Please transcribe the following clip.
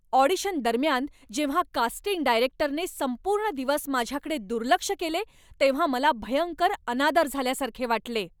Audition दरम्यान जेव्हा casting डायरेक्टरने संपूर्ण दिवस माझ्याकडे दुर्लक्ष केले तेव्हा मला भयंकर अनादर झाल्यासारखे वाटले.